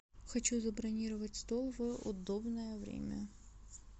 хочу забронировать стол в удобное время